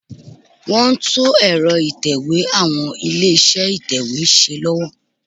Wọ́n ń tún ẹ̀rọ ìtẹ̀wé àwọn ilé-iṣẹ́ ìtẹ̀wé ṣe lọ́wọ́